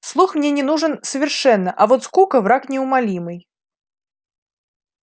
слух мне не нужен совершенно а вот скука враг неумолимый